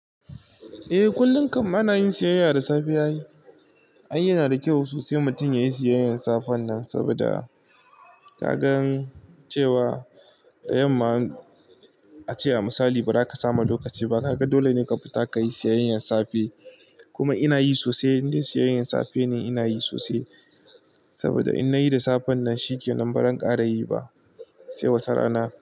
Eh, kullum kam ana yin siyayya da safiya ai. Ai yana da kyau sosai mutum yayi siyayyar safen nan saboda ka gan cewa yamma, a ce a misali ba za ka samu lokaci ba. Kaga dole ne ka fita ka yi siyayyar safe. Kuma ina yi sosai, indai siyayyar safe ne ina yi sosai saboda in na yi da safen nan shike baran kara yi ba cewa sara na.